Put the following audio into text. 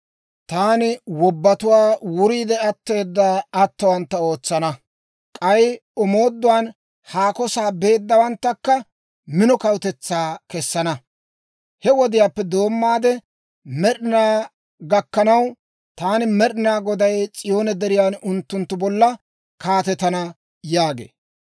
Taani wobbatuwaa wuriidde atteeda atowantta ootsana; k'ay omooduwaan haako sa'aa beeddawanttakka mino kawutetsaa kessana. He wodiyaappe doommaade med'inaa gakkanaw, taani Med'ina Goday S'iyoone Deriyan unttunttu bolla kaatetana» yaagee.